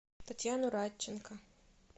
татьяну радченко